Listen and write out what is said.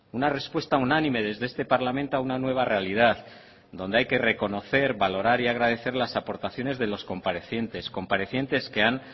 una respuesta unánime desde este parlamento a una nueva realidad donde hay que reconocer valorar y agradecer las aportaciones de los comparecientes comparecientes que han